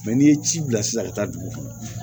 n'i ye ci bila sisan ka taa dugu kɔnɔ